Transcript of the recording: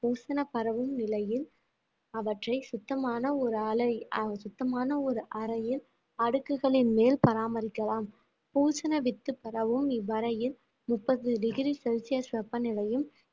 பூசன பரவும் நிலையில் அவற்றை சுத்தமான ஒரு அலை~ ஆஹ் சுத்தமான ஒரு அறையில் அடுக்குகளின் மேல் பராமரிக்கலாம் பூசன வித்து பரவும் இவ்வறையில் முப்பது டிகிரி செல்சியஸ் வெப்பநிலையும்